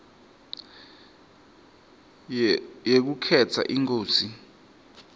yekukhetsa inkosi